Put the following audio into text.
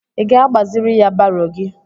Ị ga-agbaziri ya baro gị?